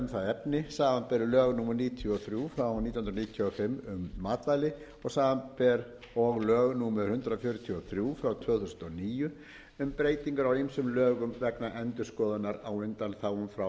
efni samanber lög númer níutíu og þrjú nítján hundruð níutíu og fimm um matvæli og samanber og lög númer hundrað fjörutíu og þrjú tvö þúsund og níu um breytingar á ýmsum lögum vegna endurskoðunar á undanþágum frá fyrsta